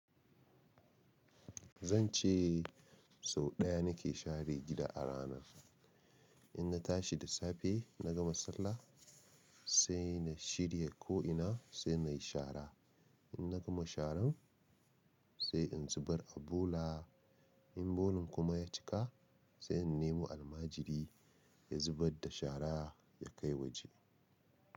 Zan ce sau ɗaya na ke share gida a rana. In na tashi da safe, na gama sallah sai na shirya ko ina sai na yi shara. In na gama sharan sai in zubar abola. In bolan kuma ya cika sai in nemo almajiri ya zubar da shara ya kai waje.